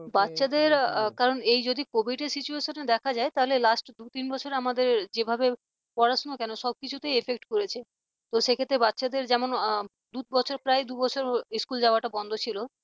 বাচ্চাদের এই যদি covid র situation দেখা যায় তাহলে last দু তিন বছরে আমাদের যেভাবে পড়াশোনা কেন সবকিছুতেই effect পড়েছে তো সে ক্ষেত্রে বাচ্চাদের যেমন দু বছর প্রায় দু বছর school যাওয়াটা বন্ধ ছিল